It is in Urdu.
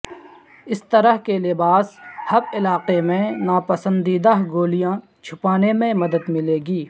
اس طرح کے لباس ہپ علاقے میں ناپسندیدہ گولیاں چھپانے میں مدد ملے گی